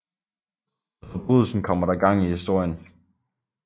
Med forbrydelsen kommer der gang i historien